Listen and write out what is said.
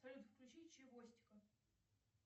салют включи чивостика